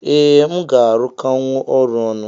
Ee mu ga arụkọnwu ọrụ ọnụ.